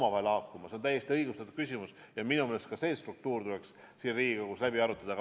Aga see on täiesti õigustatud küsimus ja minu meelest tuleks see struktuur siin Riigikogus läbi arutada.